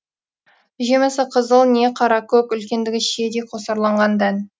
жемісі қызыл не қара көк үлкендігі шиедей қосарланған дән